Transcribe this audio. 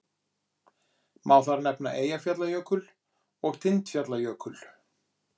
Má þar nefna Eyjafjallajökul og Tindfjallajökul.